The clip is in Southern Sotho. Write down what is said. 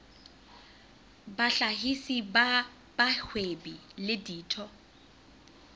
bahlahisi ba bahwebi le ditho